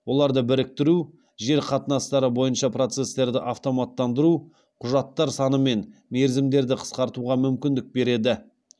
оларды біріктіру жер қатынастары бойынша процестерді автоматтандыру құжаттар саны мен мерзімдерді қысқартуға мүмкіндік береді